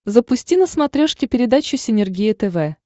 запусти на смотрешке передачу синергия тв